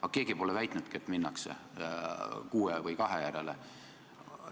Aga keegi pole väitnudki, et minnakse kuue või kahe järele.